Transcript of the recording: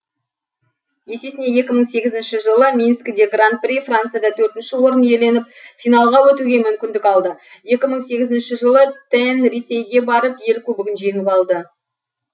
есесіне екі мың сегізінші жылы минскіде гран при францияда төрт орын иеленіп финалға өтуге мүмкіндік алды екі мың сегізінші жылы тен ресейге барып ел кубогын жеңіп алды